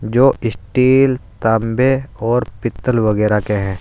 जो स्टील तांबे और पीतल वगैरह के हैं।